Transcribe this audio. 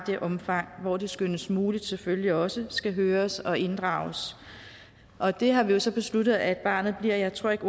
det omfang hvor det skønnes muligt selvfølgelig også skal høres og inddrages og det har vi jo så besluttet at barnet bliver jeg tror ikke